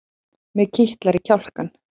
Mig kitlar í kjálkann.